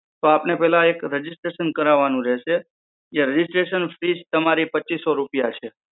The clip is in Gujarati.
તો આપને પહેલા એક registration કરાવાનું રહેશે. એ registration fees તમારી પચ્ચીસો રૂપિયા છે.